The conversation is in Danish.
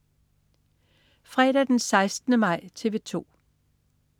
Fredag den 16. maj - TV 2: